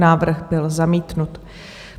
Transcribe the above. Návrh byl zamítnut.